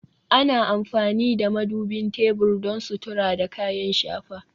Ana amfani da madubin tebur don sutura da kayan shafa